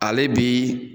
Ale bi